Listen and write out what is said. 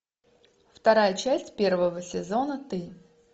вторая часть первого сезона ты